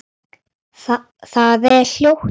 Það er hljótt.